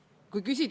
Kas on küsimusi?